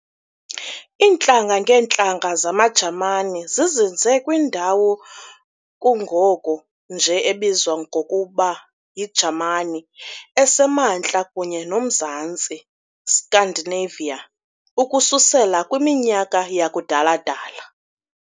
Intlanga-ngeentlanga zamaJamani zizinze kwindawo kungoku nje ebizwa ngokuba yiJamani esemaNtla kunye nomzantsi "Scandinavia" ukususela kwiminyaka yakudala-dala.